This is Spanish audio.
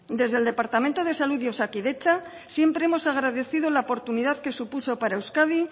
desde el departamento de salud y osakidetza siempre hemos agradecido la oportunidad que supuso para euskadi